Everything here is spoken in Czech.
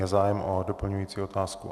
Je zájem o doplňující otázku?